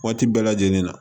Waati bɛɛ lajɛlen na